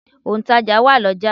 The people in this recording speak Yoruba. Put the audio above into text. Òǹtàjà wà l'ọ́jà.